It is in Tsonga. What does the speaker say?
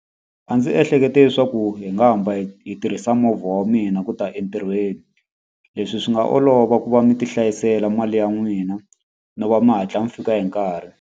A ndzi ehlekete leswaku hi nga hamba hi hi tirhisa movha wa mina ku ta entirhweni. Leswi swi nga olova ku va mi ti hlayisela mali ya n'wina, no va mi hatla mi fika hi nkarhi.